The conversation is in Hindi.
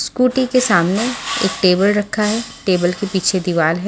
स्कूटी के सामने एक टेबल रखा है टेबल के पीछे दीवाल है।